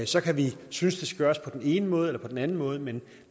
så kan vi synes det skal gøres på den ene måde eller på den anden måde men